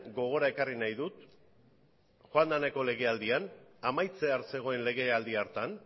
gogora ekarri nahi dut joan den legealdian amaitzear zegoen legealdi hartan